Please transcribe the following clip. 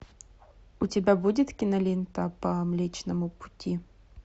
у тебя будет кинолента по млечному пути